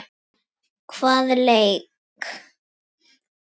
Hvaða leik?